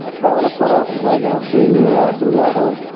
develop করার জায়গা আছে এইগুলো আসলে আরো